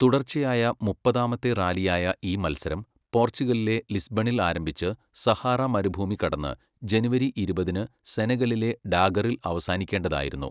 തുടർച്ചയായ മുപ്പതാമത്തെ റാലിയായ ഈ മത്സരം, പോർച്ചുഗലിലെ ലിസ്ബണിൽ ആരംഭിച്ച് സഹാറ മരുഭൂമി കടന്ന്, ജനുവരി ഇരുപതിന് സെനഗലിലെ ഡാകറിൽ അവസാനിക്കേണ്ടതായിരുന്നു.